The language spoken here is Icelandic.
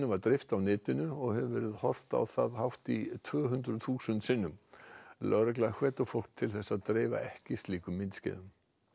var dreift á netinu og hefur verið horft á það hátt í tvö hundruð þúsund sinnum lögregla hvetur fólk til þess að dreifa ekki slíkum myndskeiðum